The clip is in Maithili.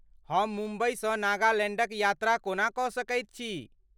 हम मुम्बईसँ नागालैण्डक यात्रा कोना कऽ सकैत छी?